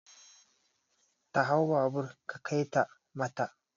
Ta hau babur ka kaita mata!